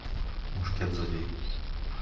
мушкет забей